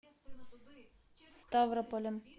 ставрополем